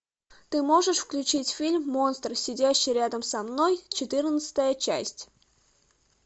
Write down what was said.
ты можешь включить фильм монстр сидящий рядом со мной четырнадцатая часть